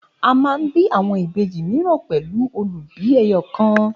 A man bí àwọn Ìbejì míràn pẹlu olubi ẹyọkan